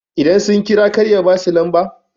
idan sun kira kar ya ba su lamba?